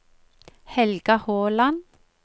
Helga Håland